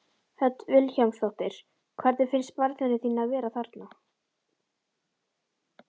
Hödd Vilhjálmsdóttir: Hvernig finnst barninu þínu að vera þarna?